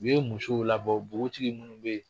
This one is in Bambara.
U ye musow labɔ bogotigi minnu bɛ ye.